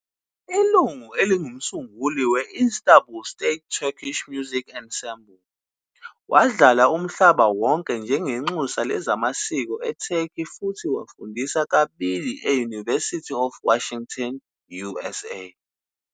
Ilungu elingumsunguli we-Istanbul State Turkish Music Ensemble, wadlala umhlaba wonke njengenxusa lezamasiko eTurkey futhi wafundisa kabili e- University of Washington, USA,